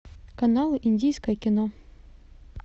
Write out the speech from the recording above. канал индийское кино